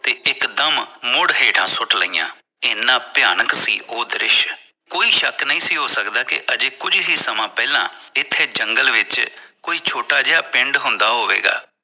ਤੇ ਇਕ ਦਮ ਮੁੜ ਹੇਠਾਂ ਸੁੱਟ ਲਿਆ ਇਹਨਾਂ ਭਿਆਨਕ ਸੀ ਉਹ ਦਰਿਸ਼ ਕੋਈ ਸ਼ੱਕ ਨਹੀਂ ਸੀ ਹੋ ਸਕਦਾ ਕਿ ਅਜੇ ਕੁੱਜ ਹੀ ਸਮਾਂ ਪਹਿਲਾ ਇਥੇ ਜੰਗਲ ਵਿਚ ਕੋਈ ਛੋਟਾ ਜਿਹਾ ਪਿੰਡ ਹੁੰਦਾ ਹੋਵੇਗਾ